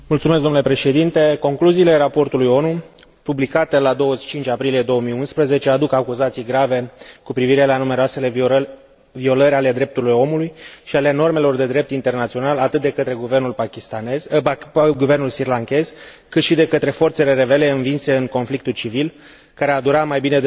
Concluziile raportului ONU publicate la 25 aprilie 2011 aduc acuzații grave cu privire la numeroasele violări ale drepturilor omului și ale normelor de drept internațional, atât de către guvernul srilankez, cât și de către forțele rebele învinse în conflictul civil, care a durat mai bine de 28 de ani.